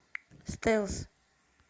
стелс